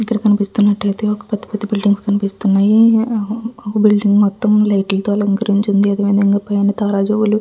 ఇక్కడ కనిపిస్తున్నట్టయితే ఒక పెద్ద పెద్ద బిల్డింగులు కనిపిస్తున్నాయి. ఒక బిల్డింగు మొత్తం లైట్ల తో అలంకరించి ఉంది. అదే విధంగా పైన తారాజువ్వలు --